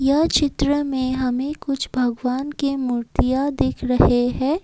यह चित्र में हमें कुछ भगवान के मूर्तियां देख रहे हैं।